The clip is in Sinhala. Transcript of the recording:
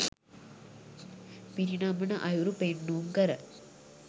පිරිනමන අයුරු පෙන්නුම් කර